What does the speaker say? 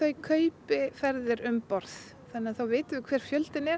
kaupi ferðir um borð þá vitum við hver fjöldinn er